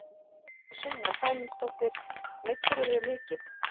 Sunna Sæmundsdóttir: Meiddirðu þig mikið?